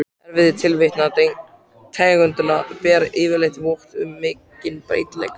Erfðaefni tvílitna tegunda ber yfirleitt vott um mikinn breytileika.